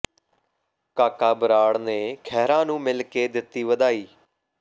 ਕਾਕਾ ਬਰਾੜ ਨੇ ਖਹਿਰਾ ਨੂੰ ਮਿਲ ਕੇ ਦਿੱਤੀ ਵਧਾਈ